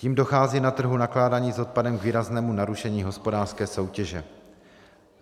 Tím dochází na trhu nakládání s odpadem k výraznému narušení hospodářské soutěže.